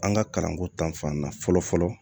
An ka kalanko ta fan na fɔlɔ fɔlɔ